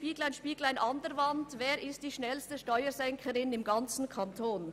«Spieglein, Spieglein an der Wand, wer ist die schnellste Steuersenkerin im ganzen Kanton».